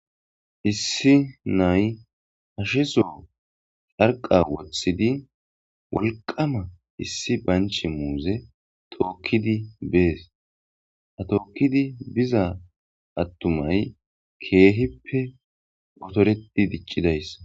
Issi nay hasheso carqqa woothidi wolqama isdi banche muuze tookidi bees. Ha tookidi bizay na'ay otoreti diccidaysa.